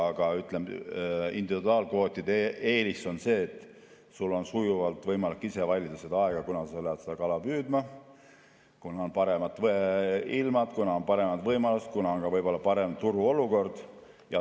Aga individuaalkvootide eelis on see, et sul on sujuvalt võimalik ise valida seda aega, kunas sa lähed seda kala püüdma, kunas on paremad ilmad, kunas on paremad võimalused, kunas on võib-olla parem turuolukord.